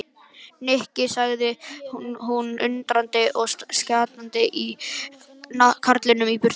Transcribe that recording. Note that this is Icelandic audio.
Nikki sagði hún undrandi og stjakaði karlinum í burtu.